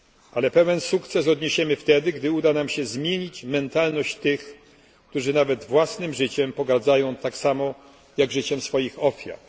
Ale pełen sukces odniesiemy wtedy, kiedy uda nam się zmienić mentalność tych, którzy nawet własnym życiem pogardzają tak samo, jak życiem swoich ofiar.